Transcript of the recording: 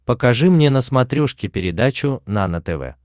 покажи мне на смотрешке передачу нано тв